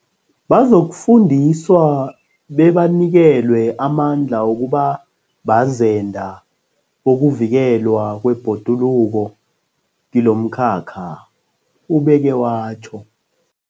Bazokufundiswa bebanikelwe amandla wokuba bazenda bokuvikelwa kwebhoduluko kilomkhakha, ubeke watjho.